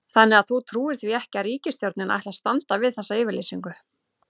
Þannig að þú trúir því ekki að ríkisstjórnin ætli að standa við þessa yfirlýsingu?